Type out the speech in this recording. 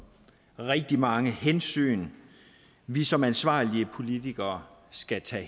rigtig mange hensyn vi som ansvarlige politikere skal tage